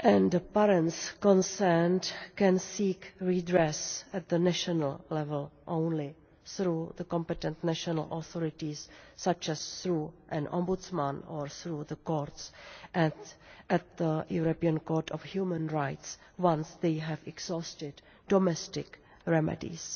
The parents concerned can seek redress at the national level only, through the competent national authorities, such as through an ombudsman or through the courts and at the European Court of Human Rights, once they have exhausted domestic remedies.